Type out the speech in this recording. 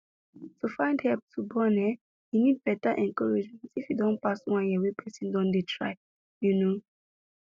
to find help to born ehnn e need better encouragement if e don pass one year wey person don dey try you know